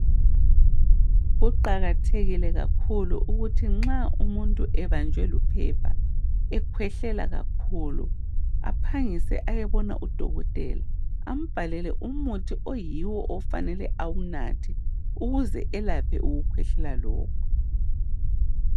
kuqakathekile kakhulu ukuthi nxa umuntu ebanjwe luphepha ekhwehlela kakhulu aphangise ayebona u dokotela ambhalele umuthi oyiwo afanele awunathe ukuze elaphe ukukhwehlela lokhu